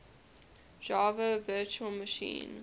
java virtual machine